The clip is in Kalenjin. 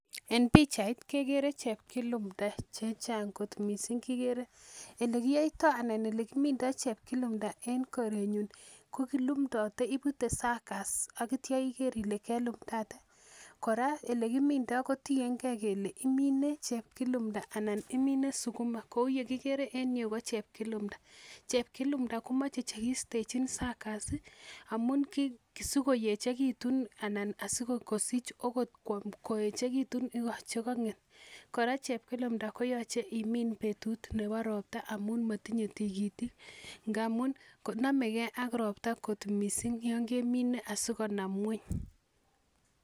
En pichait kekere chepkilumta chechang kot mising. olekiyoitoi anan olekimindoi chepkilumta eng korenyu ko kilumtotei, ipute succers akitio iker ile kelumtate. Kora olekimindoi ko tiengei kele imine chepkilumta anan imine sukuma. Kouye kigere enyu ko chepkilumta. Chepkilumta komachei chekiistechin succers amun sikoyechekitun anan asikosich akot koyechekitu chekang'et, Kora chepkilumta koyochei imin betut nebo ropta amun motinyei tigitik. Ngamun namegei ak ropta kot mising yon kemine asikonam ng'weny.